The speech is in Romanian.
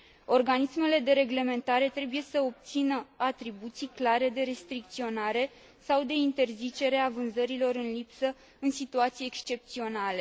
Organismele de reglementare trebuie să obțină atribuții clare de restricționare sau de interzicere a vânzărilor în lipsă în situații excepționale.